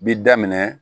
Bi daminɛ